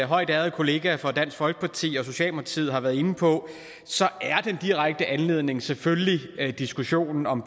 højt ærede kollega fra dansk folkeparti og socialdemokratiet har været inde på er den direkte anledning selvfølgelig diskussionen om